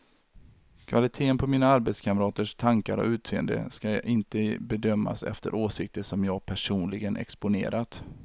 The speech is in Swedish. Kvaliteten på mina arbetskamraters tankar och utseende ska inte bedömas efter åsikter som jag personligen exponerat.